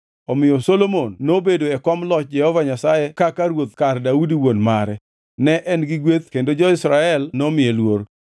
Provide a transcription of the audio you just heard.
Omiyo Solomon nobedo e kom loch Jehova Nyasaye kaka ruoth kar Daudi wuon mare. Ne en gi gweth kendo jo-Israel nomiye luor.